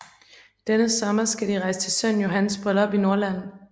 Denne sommer skal de rejse til sønnen Johans bryllup i Norrland